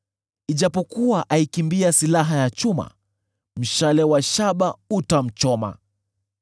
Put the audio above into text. Ijapokuwa aikimbia silaha ya chuma, mshale wa shaba utamchoma.